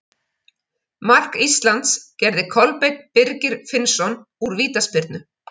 Mark Íslands gerði Kolbeinn Birgir Finnsson úr vítaspyrnu.